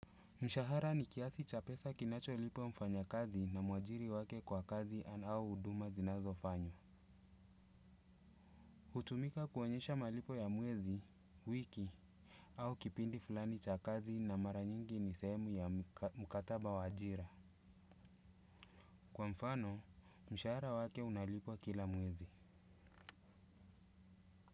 Mshahara ni kiasi cha pesa kinacho lipwa mfanya kazi na muajiri wake kwa kazi anao uduma zinazo fanywa. Utumika kuonyesha malipo ya mwezi, wiki, au kipindi fulani cha kazi na mara nyingi ni sehemu ya mkataba wa ajira. Kwa mfano, mshahara wake unalipo kila muwezi.